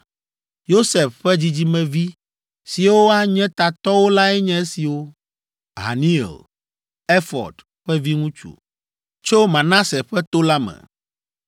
Yosef ƒe dzidzimevi siwo anye tatɔwo lae nye esiwo: Haniel, Efɔd ƒe viŋutsu, tso Manase ƒe to la me,